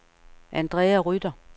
Andrea Rytter